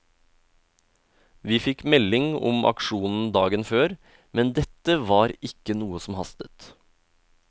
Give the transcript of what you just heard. Vi fikk melding om aksjonen dagen før, men dette var ikke noe som hastet.